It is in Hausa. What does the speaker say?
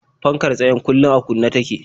Fankar tsayen kullum a kunne take.